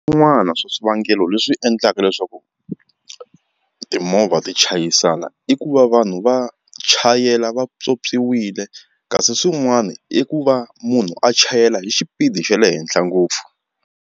Swin'wana swa swivangelo leswi endlaka leswaku timovha ti chayisana i ku va vanhu va chayela va pyopyiwile kasi swin'wana i ku va munhu a chayela hi xipidi xa le henhla ngopfu.